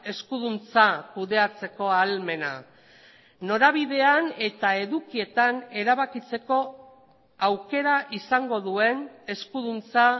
eskuduntza kudeatzeko ahalmena norabidean eta edukietan erabakitzeko aukera izango duen eskuduntza